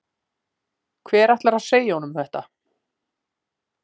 Hver ætlar að segja honum þetta?